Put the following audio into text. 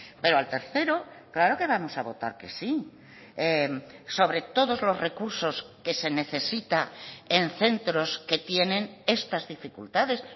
pero al tercero claro que vamos a votar que sí sobre todos los recursos que se necesita en centros que tienen estas dificultades